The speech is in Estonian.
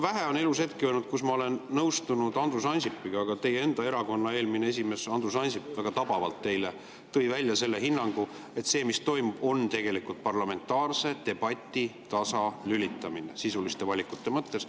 Vähe on elus olnud hetki, kui ma olen nõustunud Andrus Ansipiga, aga teie enda erakonna esimees Andrus Ansip tõi eile väga tabavalt välja hinnangu, et see, mis toimub, on tegelikult parlamentaarse debati tasalülitamine sisuliste valikute mõttes.